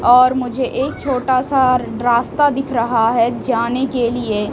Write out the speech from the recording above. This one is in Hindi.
और मुझे एक छोटा सा रास्ता दिख रहा है जाने के लिए --